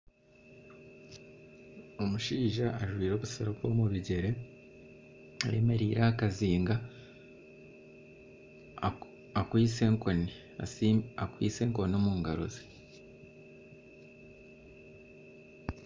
Omushaija ajwire obusiripa omu bigyere, ayemereire aha kazinga akwiste enkoni omu ngaro ze.